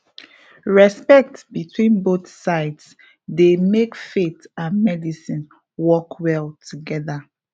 respect between both sides dey make faith and medicine work well together